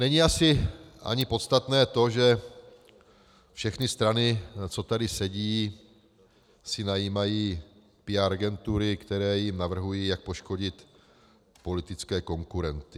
Není asi ani podstatné to, že všechny strany, co tady sedí, si najímají PR agentury, které jim navrhují, jak poškodit politické konkurenty.